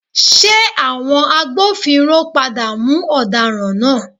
Ṣé àwọn agbófinró padà mú ọ̀daràn náà?